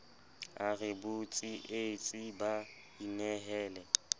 a re botsietsi ba inehele